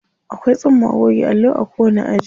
Akwai tsumma goge allo a kowanni aji.